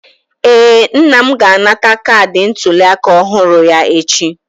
Ee, nna m ga-anata kaadị ntuliaka ọhụrụ ya echi.